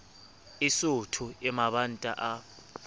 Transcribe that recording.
e sootho e mabanta a